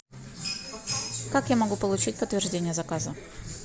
как я могу получить подтверждение заказа